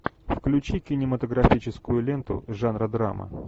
включи кинематографическую ленту жанра драма